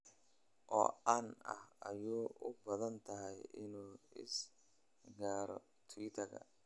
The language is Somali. oo caanka ah ay u badan tahay inuu iga raaco twitter-ka